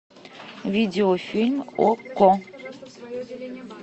видеофильм окко